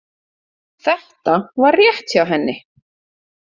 Þetta var rétt hjá henni.